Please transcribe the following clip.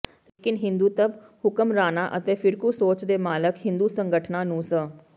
ਲੇਕਿਨ ਹਿੰਦੂਤਵ ਹੁਕਮਰਾਨਾਂ ਅਤੇ ਫਿਰਕੂ ਸੋਚ ਦੇ ਮਾਲਕ ਹਿੰਦੂ ਸੰਗਠਨਾਂ ਨੂੰ ਸ